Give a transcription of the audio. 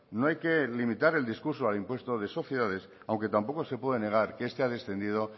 no hay que limitar el discurso al impuesto de sociedades aunque tampoco se puede negar que este ha descendido